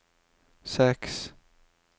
seks